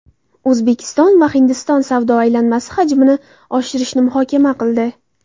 O‘zbekiston va Hindiston savdo aylanmasi hajmini oshirishni muhokama qildi.